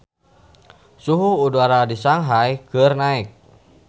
Suhu udara di Shanghai keur naek